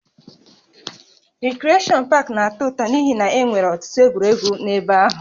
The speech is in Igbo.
Rikreshọn pak na-atọ ụtọ n'ihi na e nwere ọtụtụ egwuregwu n'ebe ahụ